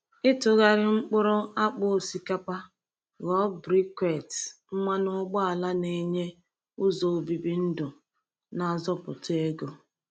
Ịtụgharị mkpụrụ akpụ osikapa ghọọ briquette mmanụ ụgbọala na-enye ụzọ obibi ndụ na-azọpụta ego.